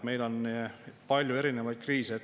Meil on palju erinevaid kriise.